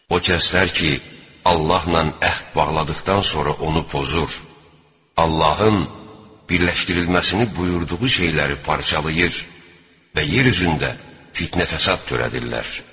O kəslər ki, Allahla əhd bağladıqdan sonra onu pozur, Allahın birləşdirilməsini buyurduğu şeyləri parçalayır və yer üzündə fitnə-fəsad törədirlər.